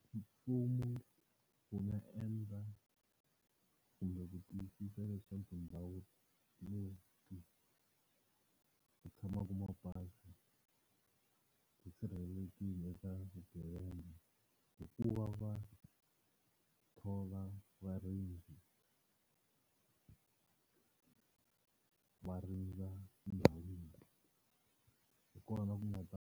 Mfumo wu nga endla kumbe ku tiyisisa leswi tindhawu leti ku tshamaka mabazi ti sirhelelekile eka swigevenga hi ku va va thola varindzi va rindza ndhawu leyi. Hi kona ku nga ta.